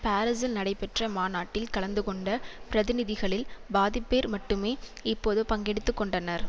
பாரிசில் நடைபெற்ற மாநாட்டில் கலந்துகொண்ட பிரதிநிதிகளில் பாதிப்பேர் மட்டுமே இப்போது பங்கெடுத்து கொண்டனர்